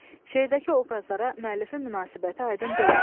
Şeirdəki obrazlara müəllifin münasibəti aydın deyil.